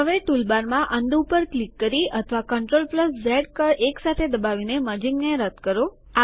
હવે ટૂલબાર માં અનડુ પર ક્લિક કરી અથવા કન્ટ્રોલ ઝેડ કળ એકસાથે દબાવીને મર્જીંગ ને રદ કરો